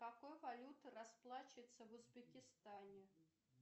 какой валютой расплачиваться в узбекистане